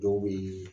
Dɔw bɛ ye